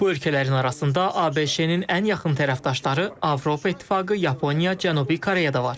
Bu ölkələrin arasında ABŞ-ın ən yaxın tərəfdaşları, Avropa İttifaqı, Yaponiya, Cənubi Koreya da var.